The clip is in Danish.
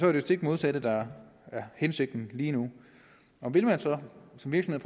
er det stik modsatte der er hensigten lige nu vil man så som virksomhed